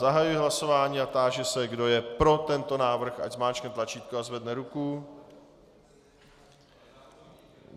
Zahajuji hlasování a táži se, kdo je pro tento návrh, ať zmáčkne tlačítko a zvedne ruku.